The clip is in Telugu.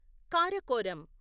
కారకోరం